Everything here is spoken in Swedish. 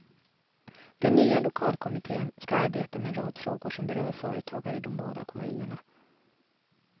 Den nya lokalkommitten ska arbeta med en rad frågor som berör företagare i de båda kommunerna.